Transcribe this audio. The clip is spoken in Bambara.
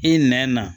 I nɛn na